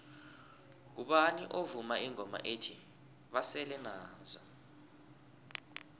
ngubani ovuma ingoma ethi basele nazo